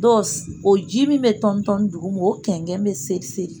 Dɔ o ji min bɛ tɔnitɔni duguma o kɛnkɛn bɛ seriseri.